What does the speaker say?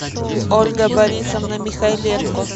ольга борисовна михайленко